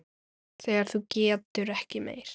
Þegar þú getur ekki meir.